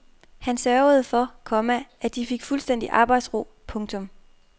Han sørgede for, komma at de fik fuldstændig arbejdsro. punktum